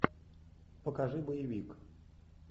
покажи боевик